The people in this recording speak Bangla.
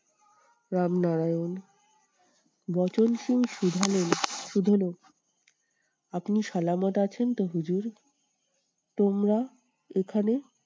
রামনারায়ণ। বচনসুর শুধালেন শুধালো আপনি আছেন তো হুজুর? তোমরা এখানে?